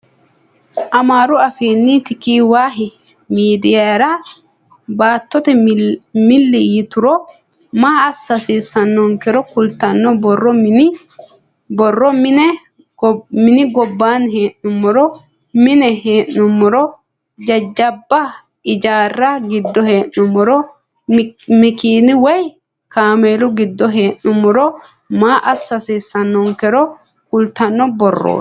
Amaaru afiinni tikivah midiyira baatto milli yituro maa assa hassiissannonkero kultanno borro mini gobbaanni hee'nummoro, mine hee'nummoro, jajjabba ijaarra giddo hee'nummoro makiina woyi kaameelu giddo hee'nummoro maa assa hassiissannonkero kultanno borrooti.